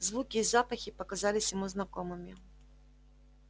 звуки и запахи показались ему знакомыми